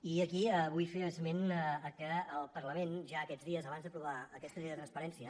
i aquí vull fer esment que el parlament ja aquests dies abans d’aprovar aquesta llei de transparència